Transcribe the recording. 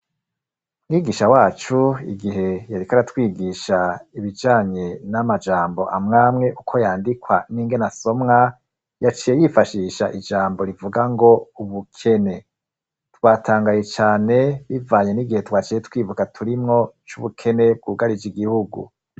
Mwigisha wacu igihe yariko aratwigisha ibijanye n'amajambo amwamwe uko yandikwa n'ingene asomwa, yaciye yifashisha ijambo rivuga ngo ubukene. Twatangaye cane, bivanye n'igihe twaciye twibuka turimwo, c'ubukene bwugarije igihugu.